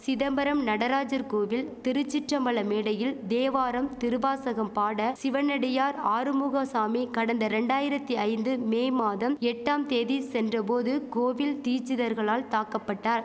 சிதம்பரம் நடராஜர் கோவில் திருச்சிற்றபல மேடையில் தேவாரம் திருவாசகம் பாட சிவனடியார் ஆறுமுக சாமி கடந்த ரெண்டாயிரத்தி ஐந்து மே மாதம் எட்டாம் தேதி சென்ற போது கோவில் தீச்சிதர்களால் தாக்கபட்டார்